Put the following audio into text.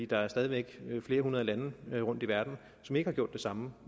der er stadig flere hundrede lande rundt i verden som ikke har gjort det samme